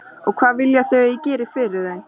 Og hvað vilja þau að ég geri fyrir þau?